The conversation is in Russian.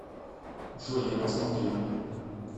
джой я посмотрю